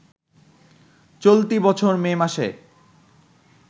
চলতি বছর মে মাসে